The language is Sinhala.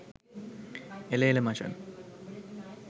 එල එල මචන්